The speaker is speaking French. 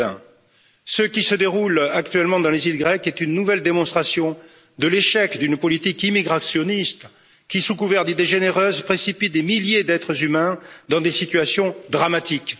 2020. Ce qui se déroule actuellement dans les îles grecques est une nouvelle démonstration de l'échec d'une politique immigrationniste qui, sous couvert d'idées généreuses, précipite des milliers d'êtres humains dans des situations dramatiques.